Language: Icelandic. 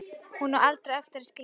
Hún á aldrei eftir að skilja það.